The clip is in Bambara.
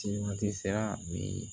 Siman tɛ sira min